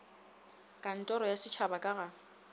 kantoro ya setšhaba ka ga